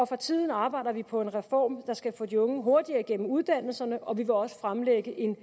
for tiden arbejder vi på en reform der skal få de unge hurtigere igennem uddannelserne og vi vil også fremlægge en